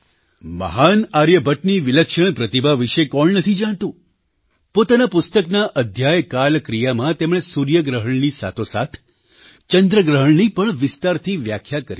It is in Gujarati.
મહાન આર્યભટ્ટની વિલક્ષણ પ્રતિભા વિશે કોણ નથી જાણતું પોતાનાપુસ્તકના અધ્યાયકાલક્રિયામાં તેમણે સૂર્યગ્રહણની સાથોસાથ ચંદ્રગ્રહણની પણ વિસ્તારથી વ્યાખ્યા કરી છે